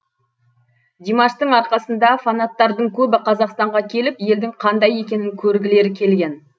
димаштың арқасында фанаттардың көбі қазақстанға келіп елдің қандай екенін көргілері келген